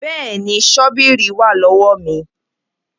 Bẹ́ẹ̀ni, ṣọ́bíìrì wà lọ́wọ́ mi